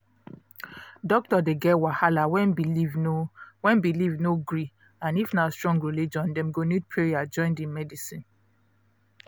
doctor dey get wahala when belief no when belief no gree and if na strong religion dem go need prayer join the medicine